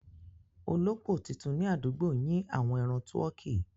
Olópò titun ni àdúgbò yin àwọn ẹran tuọkí.